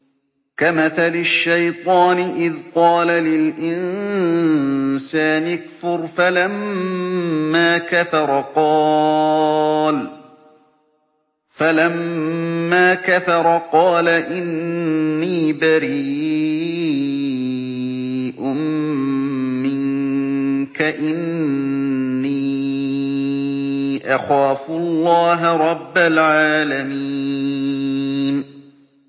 كَمَثَلِ الشَّيْطَانِ إِذْ قَالَ لِلْإِنسَانِ اكْفُرْ فَلَمَّا كَفَرَ قَالَ إِنِّي بَرِيءٌ مِّنكَ إِنِّي أَخَافُ اللَّهَ رَبَّ الْعَالَمِينَ